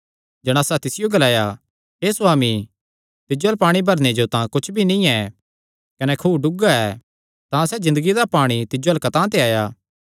जणासा तिसियो ग्लाया हे सुआमी तिज्जो अल्ल पाणी भरणे जो तां कुच्छ भी नीं ऐ कने खुअ डुगा ऐ तां सैह़ ज़िन्दगिया दा पाणी तिज्जो अल्ल कतांह ते आया